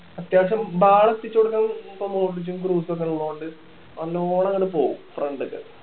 അത്യാവശ്യം ball എത്തിച്ച് കൊടുക്കാൻ ഇപ്പം മോഡ്രിച്ചും ക്രൂസും ഒക്കെ ഉള്ളോണ്ട് ഒന്നും കൂടെ അങ്ങോട്ട് പോകും front ല്